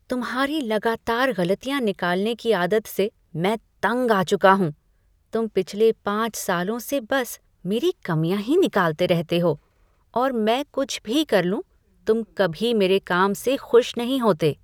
तुम्हारी लगातार गलतियाँ निकालने की आदत से मैं तंग आ चुका हूँ, तुम पिछले पाँच सालों से बस मेरी कमियां ही निकालते रहे हो और मैं कुछ भी कर लूं, तुम कभी मेरे काम से खुश नहीं होते।